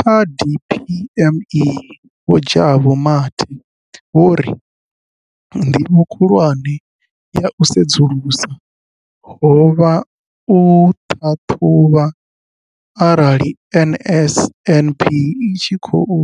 Kha DPME, Vho Jabu Mathe, vho ri ndivho khulwane ya u sedzulusa ho vha u ṱhaṱhuvha arali NSNP i tshi khou